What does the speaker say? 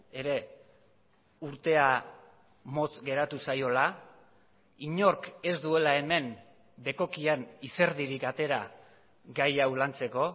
ere urtea motz geratu zaiola inork ez duela hemen bekokian izerdirik atera gai hau lantzeko